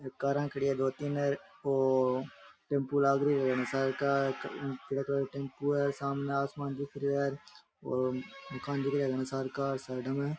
एक कारा खड़ी है दो तीन और टम्पू लाग रही है घड़े सार का पीलो कलर का टम्पू है सामने आसमान दिख रहा है और दूकान दिख रही है घाड़ा सार का साइड में।